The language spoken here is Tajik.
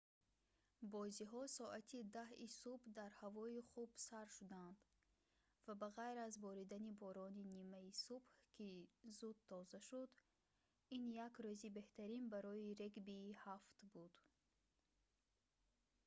бозиҳо соати 10:00-и субҳ дар ҳавои хуб сар шуданд ва ба ғайр аз боридани борони нимаи субҳ ки зуд тоза шуд ин як рӯзи беҳтарин барои регбии 7 буд